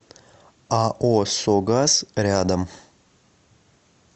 ао согаз рядом